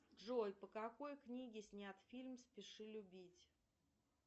джой по какой книге снят фильм спеши любить